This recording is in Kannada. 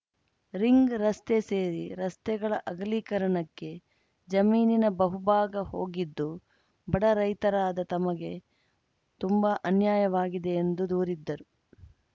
ರಿಂಗ್‌ ರಸ್ತೆ ಸೇರಿ ರಸ್ತೆಗಳ ಅಗಲೀಕರಣಕ್ಕೆ ಜಮೀನಿನ ಬಹುಭಾಗ ಹೋಗಿದ್ದು ಬಡ ರೈತರಾದ ತಮಗೆ ತುಂಬಾ ಅನ್ಯಾಯವಾಗಿದೆ ಎಂದು ದೂರಿದ್ದರು